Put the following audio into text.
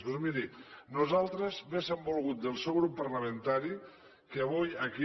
doncs miri nosaltres hauríem volgut del seu grup parlamentari que avui aquí